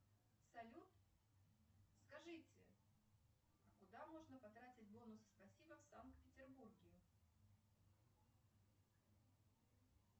салют скажите куда можно потратить бонусы спасибо в санкт петербурге